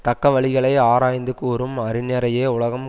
தக்க வழிகளை ஆராய்ந்து கூறும் அறிஞரையே உலகம்